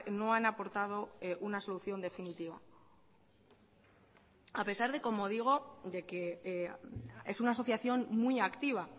no han aportado una solución definitiva a pesar de como digo de que es una asociación muy activa